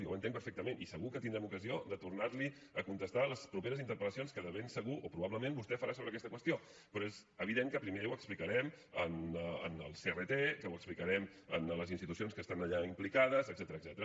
ment i segur que tindrem ocasió de tornar li a contestar les properes interpel·lacions que de ben segur o probablement vostè farà sobre aquesta qüestió però és evident que primer ho explicarem en el crt que ho explicarem a les institucions que estan allà implicades etcètera